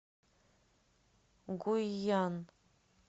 гуйян